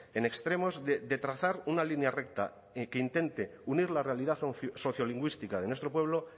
en extremos de trazar una línea recta y que intente unir la realidad sociolingüística de nuestro pueblo